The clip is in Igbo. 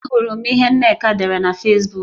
Ahụrụ m ihe Nneka dere na Fesbuk